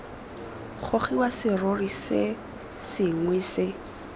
gogiwa serori se sengwe se